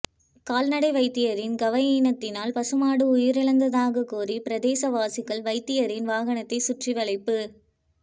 கால்நடை வைத்தியரின் கவயீனத்தினால் பசுமாடு உயிரிழந்ததாக கோரி பிரதேசவாசிகள் வைத்தியரின் வாகனத்தை சுற்றி வளைப்பு